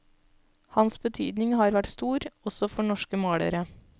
Hans betydning har vært stor, også for norske malere.